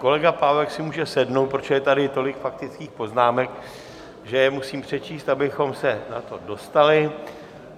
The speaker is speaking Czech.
Kolega Pávek si může sednout, protože je tady tolik faktických poznámek, že je musím přečíst, abychom se na to dostali.